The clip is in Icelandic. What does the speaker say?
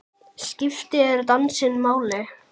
Skiptir dansinn máli?